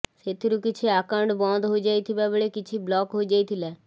ସେଥିରୁ କିଛି ଆକାଉଣ୍ଟ ବନ୍ଦ ହୋଇଯାଇଥିବା ବେଳେ କିଛି ବ୍ଳକ ହୋଇଯାଇଥିଲା